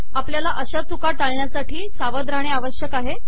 आपल्याला अशा चुका टाळण्यासाठी सावध रहाणे आवश्यक आहे